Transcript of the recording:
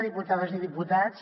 diputades i diputats